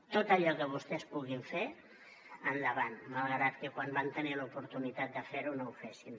tot allò que vostès puguin fer endavant malgrat que quan van tenir l’oportunitat de fer ho no ho fessin